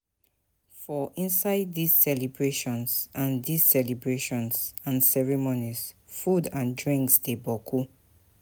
For inside dis celebrations and dis celebrations and ceremonies food and drinks de boku